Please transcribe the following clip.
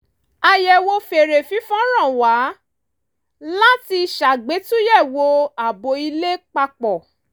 àyẹ̀wò fèrè fífọn rán wa látí ṣàgbétúyẹ̀wò ààbò ilé papọ̀